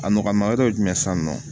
A nɔgɔma yɔrɔ ye jumɛn san nɔ